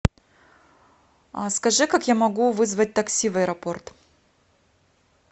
а скажи как я могу вызвать такси в аэропорт